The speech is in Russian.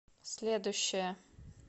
следующая